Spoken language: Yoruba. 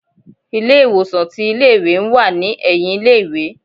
ilé ìwòsan tí ilé ìwé n wá ní eyìn ilé ìwé